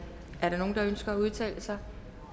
er der nogen der ønsker at udtale sig